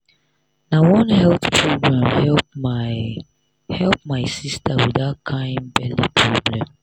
na one health program help my help my sister with that kind belly problem.